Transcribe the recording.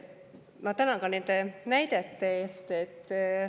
Ma tänan ka nende näidete eest.